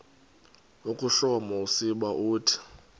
ukuhloma usiba uthi